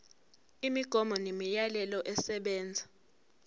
imigomo nemiyalelo esebenza